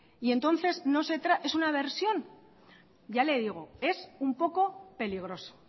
y entonces es una versión ya le digo es un poco peligroso